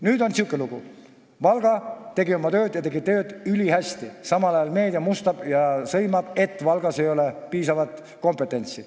Nüüd on selline lugu, et Valga tegi oma tööd ja tegi seda ülihästi, samal ajal aga meedia mustab ja sõimab, et Valgas ei ole piisavalt kompetentsi.